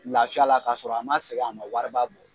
Lafiya la k'a sɔrɔ a man sɛgɛ a man wari ba bɔ.